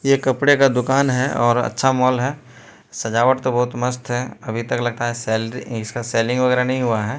यह कपड़े का दुकान है और अच्छा मॉल है सजावट तो बहोत मस्त है अभी तक लगता है सैलरी इसका सेलिंग वगैरा नहीं हुआ है।